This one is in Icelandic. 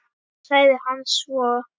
sagði hann svo.